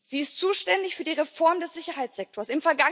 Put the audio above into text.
Sie ist zuständig für die Reform des Sicherheitssektors.